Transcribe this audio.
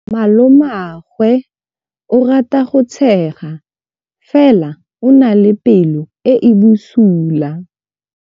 Malomagwe o rata go tshega fela o na le pelo e e bosula.